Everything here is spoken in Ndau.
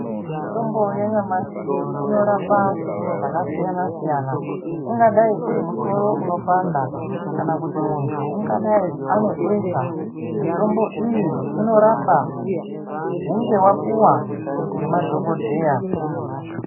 Mitombo yanyamashi inorapa zvakasiyana siyana ungadai uri musoro unopanda kana kuti ungadai une besha iyi unorapa hunge wapuwa madhokodheya.